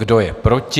Kdo je proti?